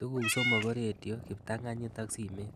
Tuguk somok ko rediot, kiptang'anyit ak simet